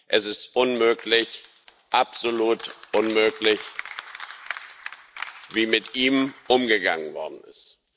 Es ist unmöglich, absolut unmöglich, wie mit ihm umgegangen worden ist.